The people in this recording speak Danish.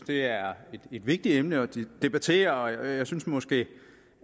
det er et vigtigt emne at debattere jeg synes måske